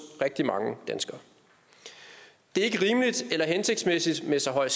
rigtig mange danskere det er ikke rimeligt eller hensigtsmæssigt med så høj